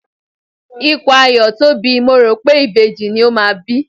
Ikùn Ayọ̀ tóbi, mo rò pé ìbejì ni ó máa bí.